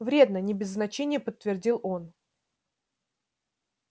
вредно не без значения подтвердил он